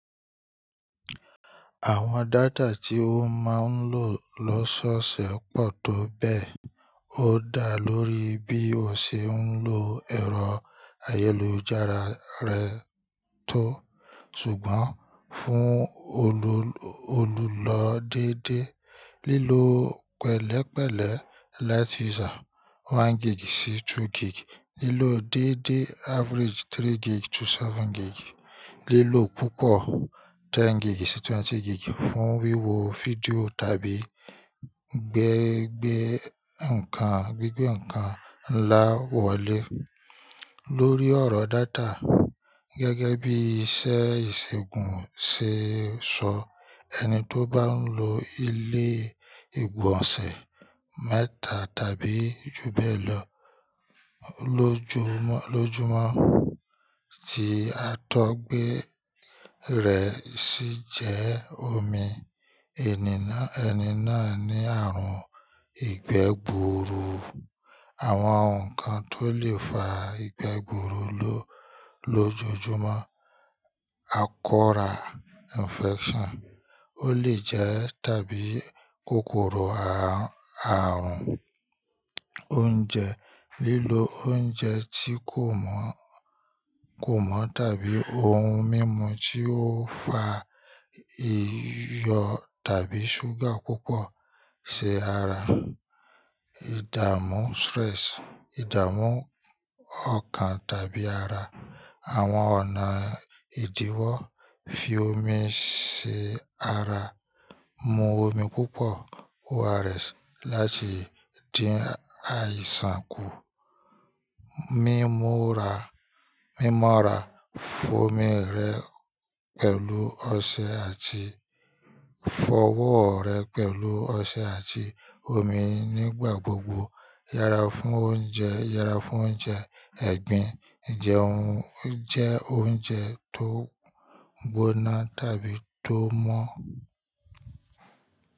Àwọn data tí o máa ń lò lọ́sọ̀ọ̀ṣẹ̀ pọ̀ tó bẹ́ẹ̀, ó dá lórí bí o ṣe ń lò ẹ̀rọ ayélujára rẹ tó. Ṣùgbọ́n fún olùlọ dédé, lílọ́ pẹ̀lẹ́pẹ̀lẹ́ light user one gig sí two gig, lílọ́ dédé average three gig to seven gig, lílọ́ púpọ̀ ten gig sí twenty gig fún wíwo fídíò tàbí gbẹ́gbẹ́ nǹkan, gbígbẹ́ nǹkan ńlá wọlé. Lórí ọ̀rọ̀ data, gẹ́gẹ́ bí iṣẹ́ ìṣègùn ṣe sọ, ẹni tó bá ń lo ilé ìgbọ̀nsẹ̀ mẹ́ta tàbí ju bẹ́ẹ̀ lọ lójúmọ́ tí a tó gbé rẹ̀ ṣì jẹ́ omi. Ẹni náà ní ààrùn ìgbẹ́ gbuuru. Àwọn nǹkan tó lè fa ìgbẹ́ gbuuru lójoojúmọ́, akọ́rà infection ó lè jẹ́ tàbí kòkòrò àrùn, oúnjẹ, lílọ oúnjẹ tí kò mọ̀ tàbí ohun mímu tí ó fa iyọ̀ tàbí ṣúgà púpọ̀ ṣe ara, ìdààmú stress, ìdààmú ọkàn tàbí ara, àwọn ọ̀nà ìdíwọ́ fi omi ṣe ara, mu omi púpọ̀ ORS láti dín àìsàn kù, mímú ra-- mímọ́ra, fọ́ omi rẹ pẹ̀lú ọṣẹ àti fọwọ́ rẹ pẹ̀lú ọṣẹ àti omi nígbà gbogbo, yára fún oúnjẹ, yára fún oúnjẹ ẹ̀gbin, jẹ oúnjẹ tó gbóná tàbí tó mọ́.